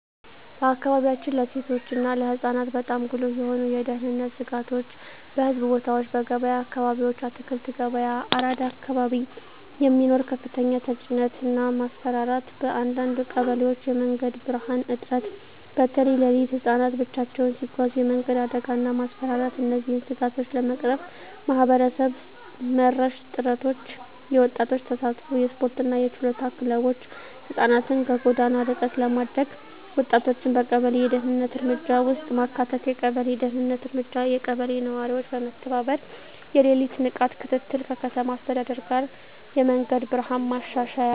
በአካባቢያችን ለሴቶች እና ለህፃናት በጣም ጉልህ የሆኑ የደህንነት ስጋቶች :- በሕዝብ ቦታዎች *በገበያ አካባቢዎች (አትክልት ገበያ፣ አራዳ አካባቢ) የሚኖር ከፍተኛ ተጭነት እና ማስፈራራት *በአንዳንድ ቀበሌዎች የመንገድ ብርሃን እጥረት (በተለይ ሌሊት) *ህፃናት ብቻቸውን ሲጓዙ የመንገድ አደጋ እና ማስፈራራት እነዚህን ስጋቶች ለመቅረፍ ማህበረሰብ መራሽ ጥረቶች :- የወጣቶች ተሳትፎ *የስፖርትና የችሎታ ክለቦች (ህፃናትን ከጎዳና ርቀት ለማድረግ) *ወጣቶችን በቀበሌ የደህንነት እርምጃ ውስጥ ማካተት የቀበሌ ደህንነት እርምጃ *የቀበሌ ነዋሪዎች በመተባበር የሌሊት ንቃት ክትትል *ከከተማ አስተዳደር ጋር የመንገድ ብርሃን ማሻሻያ